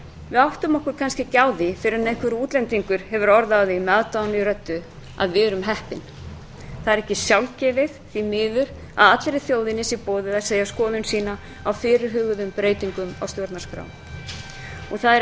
við áttum okkur kannski ekki á því fyrr en einhver útlendingur hefur orð á því með aðdáun í röddu að við erum heppin það er ekki sjálfgefið því miður að allri þjóðinni sé boðið að segja skoðun sína á fyrirhuguðum breytingum á stjórnarskrá og það er